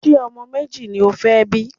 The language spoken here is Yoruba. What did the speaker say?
Ṣé ọmọ méjì ni o fẹ́ bí?